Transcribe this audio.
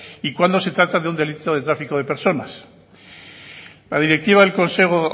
y cuando se trata de un delito de tráfico de personas la directiva del consejo